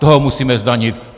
Toho musíme zdanit!